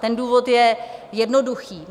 Ten důvod je jednoduchý.